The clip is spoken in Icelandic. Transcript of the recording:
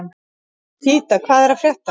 Nikíta, hvað er að frétta?